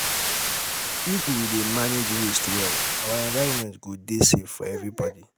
if we dey manage waste well our environment go dey safe for everybody.